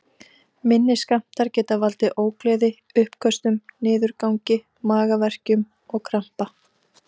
Minni skammtar geta valdið ógleði, uppköstum, niðurgangi, magaverkjum og krampa.